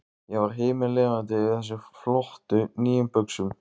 Ég var himinlifandi yfir þessum flottu, nýju buxum.